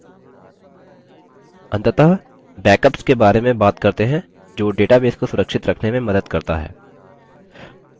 अंततः backups के बारे में बात करते हैं जो database को सुरक्षित रखने में मदद करता है